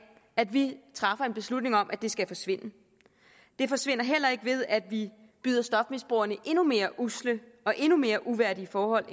at vi træffer en beslutning om at det skal forsvinde det forsvinder heller ikke ved at vi byder stofmisbrugerne endnu mere usle og endnu mere uværdige forhold